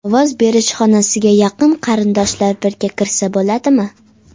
Ovoz berish xonasiga yaqin qarindoshlar birga kirsa bo‘ladimi?